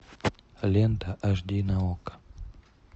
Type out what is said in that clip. лента аш ди на окко